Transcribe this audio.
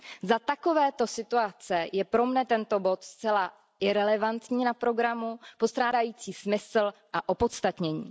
Za takovéto situace je pro mě tento bod zcela irelevantní na programu, postrádající smysl a opodstatnění.